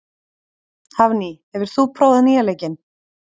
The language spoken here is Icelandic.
Hafný, hefur þú prófað nýja leikinn?